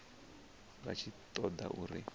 vha tshi ṱo ḓa uri